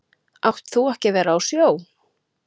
Átt þú ekki að vera á sjó?